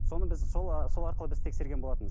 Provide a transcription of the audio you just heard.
соны біз сол ы сол арқылы біз тексерген болатынбыз